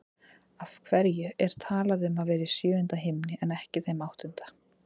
Af hverju er talað um að vera í sjöunda himni en ekki þeim áttunda?